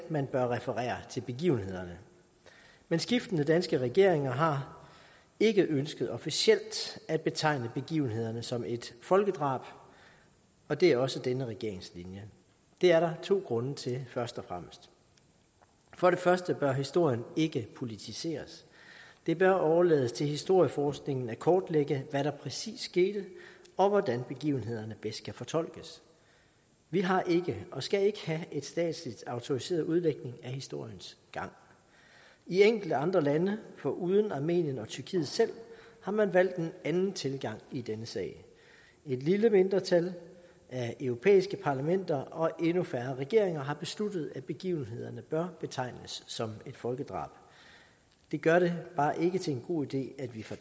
man kan referere til begivenhederne men skiftende danske regeringer har ikke ønsket officielt at betegne begivenheden som et folkedrab og det er også denne regerings linje det er der to grunde til først og fremmest for det første bør historien ikke politiseres det bør overlades til historieforskningen at kortlægge hvad der præcis skete og hvordan begivenhederne bedst kan fortolkes vi har ikke og skal ikke have en statsligt autoriseret udlægning af historiens gang i enkelte andre lande foruden armenien og tyrkiet selv har man valgt en anden tilgang i denne sag et lille mindretal af europæiske parlamenter og endnu færre regeringer har besluttet at begivenhederne bør betegnes som et folkedrab det gør det bare ikke til en god idé at vi fra